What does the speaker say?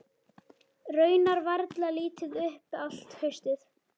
Raunar varla litið upp allt haustið.